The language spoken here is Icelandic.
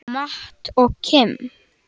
Matt og Kim.